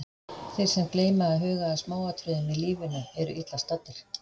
Þeir sem gleyma að huga að smáatriðunum í lífinu, eru illa staddir.